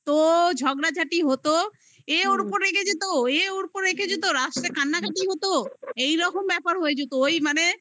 ঝগড়াঝাটি হতো এ ওর ওপর রেগে যেত এ ওর ওপর রেখে যেত রাস্তায় কান্নাকাটি হতো এইরকম ব্যাপার হয়ে যেত ওই মানে